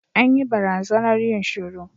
An yi barazanar yin shiru.